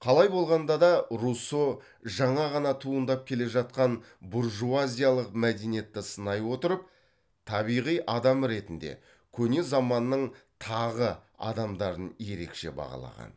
қалай болғанда да руссо жаңа ғана туындап келе жатқан буржуазиялық мәдениетті сынай отырып табиғи адам ретінде көне заманның тағы адамдарын ерекше бағалаған